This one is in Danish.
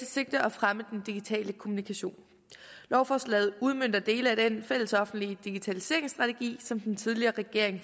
sigte at fremme den digitale kommunikation lovforslaget udmønter dele af den fælles offentlige digitaliseringsstrategi som den tidligere regering